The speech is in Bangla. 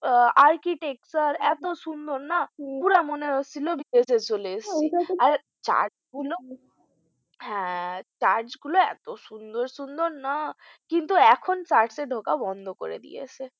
Archictecture এতো সুন্দর না পুরো মনে হচ্ছিলো বিদেশে চলে এসেছি church গুলো হ্যাঁ church গুলো এতো সুন্দর সুন্দর না কিন্তু এখন church এ ঢোকা বন্ধ করে দিয়েছে